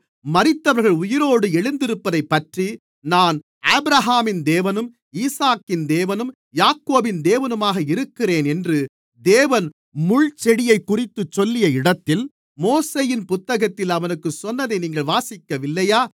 மரித்தவர்கள் உயிரோடு எழுந்திருப்பதைப்பற்றி நான் ஆபிரகாமின் தேவனும் ஈசாக்கின் தேவனும் யாக்கோபின் தேவனுமாக இருக்கிறேன் என்று தேவன் முள்செடியைக்குறித்துச் சொல்லிய இடத்தில் மோசேயின் புத்தகத்தில் அவனுக்குச் சொன்னதை நீங்கள் வாசிக்கவில்லையா